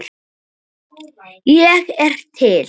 Ég er til